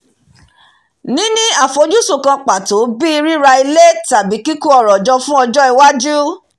níní àfojúsùn kan pàtó bíi ríra ilé tàbí kíkó ọrọ̀ jọ fún ọjọ́ iwájú